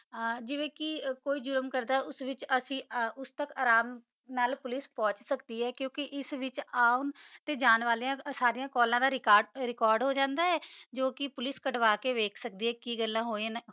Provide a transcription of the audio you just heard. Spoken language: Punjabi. ਆ ਜੀਵਾ ਕਾ ਕੋਈ ਜੁਰਮ ਕਰਦਾ ਆ ਕਾ ਅਸੀਂ ਆਰਾਮ ਨਾਲ ਪੋਲਿਕੇ ਪੋੰਛ ਸਕਦੀ ਆ ਕੁ ਕਾ ਇਸ ਵਿਤਚ ਆਂ ਤਾ ਜਾਨ ਆਲਿਆ ਕੈੱਲਾ ਦਾ ਰੇਕਾਰ੍ਡ ਹੋ ਜਾਂਦਾ ਆ ਜੋ ਕਾ ਪੋਲਿਕੇ ਕੜਵਾ ਕਾ ਵਾਖ੍ਸਾਕਦੀ ਆ ਕੀ ਗਲਾ ਹੋਇਆ ਨਾ